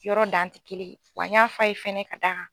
Yɔrɔ dan tɛ kelen ye wa n y'a f'a ye fɛnɛ ka d'a kan.